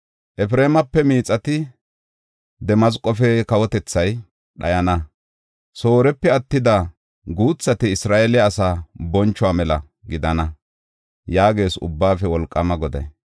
Efreemape Miixati, Damasqofe kawotethay dhayana; Soorepe attida guuthati Isra7eele asaa bonchuwa mela gidana” yaagees Ubbaafe Wolqaama Goday.